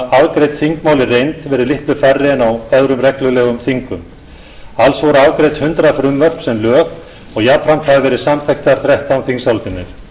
litlu færri en á öðrum reglulegum þingum alls voru afgreidd hundrað frumvörp sem lög og jafnframt hafa verið samþykktar þrettán þingsályktanir